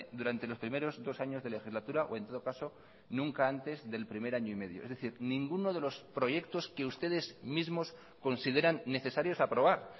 durante los primeros dos años de legislatura o en todo caso nunca antes del primer año y medio es decir ninguno de los proyectos que ustedes mismos consideran necesarios aprobar